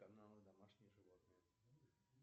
канал домашние животные